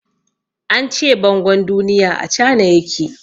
An ce bangon duniya a Cana ya ke.